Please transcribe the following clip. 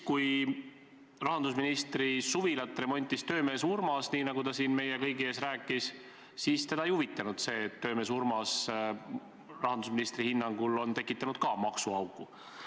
Kui rahandusministri suvilat remontis töömees Urmas, nii nagu ta siin meie kõigi ees rääkis, siis teda ei huvitanud see, et töömees Urmas tekitas rahandusministri hinnangul ka maksuaugu.